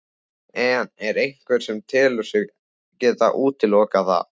En er einhver sem telur sig geta útilokað það?